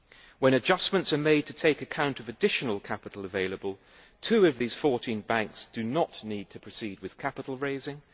When adjustments are made to take account of additional capital available, two of these 14 banks do not need to proceed with capital raising.